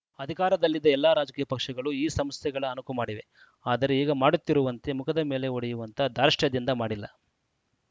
ಅಧಿಕಾರದಲ್ಲಿದ್ದ ಎಲ್ಲ ರಾಜಕೀಯ ಪಕ್ಷಗಳು ಈ ಸಂಸ್ಥೆಗಳ ಅಣಕು ಮಾಡಿವೆ ಆದರೆ ಈಗ ಮಾಡುತ್ತಿರುವಂತೆ ಮುಖದ ಮೇಲೆ ಹೊಡೆಯುವಂಥ ಧಾರ್ಷ್ಟ್ಯದಿಂದ ಮಾಡಿಲ್ಲ